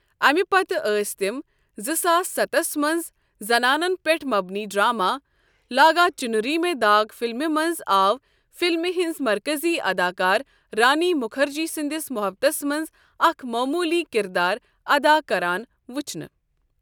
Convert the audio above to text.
اَمہِ پتہٕ ٲسۍ تِم زٕ ساس ستھس منٛز زنانَن پٮ۪ٹھ مبنی ڈرامہ لاگا چُنری میں داغ فلمہِ منٛز آو فلمہِ ہٕنٛز مرکٔزی اداکار رانی مُکھرجی سٕنٛدِس مُحبَتَس منٛز اکھ معموٗلی کردار ادا کران وٕچھنہٕ۔